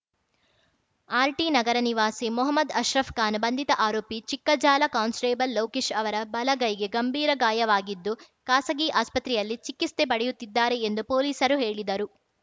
ಆರ್‌ಟಿನಗರ ನಿವಾಸಿ ಮೊಹಮದ್‌ ಅಶ್ರಪ್‌ಖಾನ್‌ ಬಂಧಿತ ಆರೋಪಿ ಚಿಕ್ಕಜಾಲ ಕಾನ್ಸ್‌ಟೇಬಲ್‌ ಲೋಕೇಶ್‌ ಅವರ ಬಲಗೈಗೆ ಗಂಭೀರಗಾಯವಾಗಿದ್ದು ಖಾಸಗಿ ಆಸ್ಪತ್ರೆಯಲ್ಲಿ ಚಿಕಿತ್ಸೆ ಪಡೆಯುತ್ತಿದ್ದಾರೆ ಎಂದು ಪೊಲೀಸರು ಹೇಳಿದರು